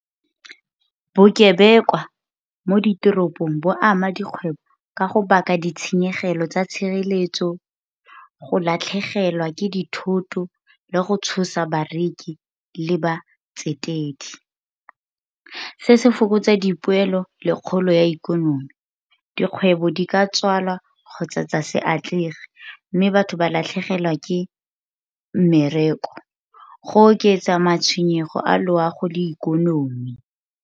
Bokebekwa mo ditoropong bo ama dikgwebo ka go baka ditshenyegelo tsa tshireletso, go latlhegelwa ke dithoto, le go tshosa bareki le batsetedi. Se se fokotsa dipoelo le kgolo ya ikonomi, dikgwebo di ka tswalwa kgotsa tsa se atlege mme batho ba latlhegelwa ke mmereko go oketsa matshwenyego a loago le ikonomi.